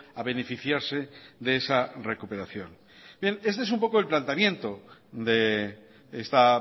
a beneficiarse de esa recuperación bien este es un poco el planteamiento de esta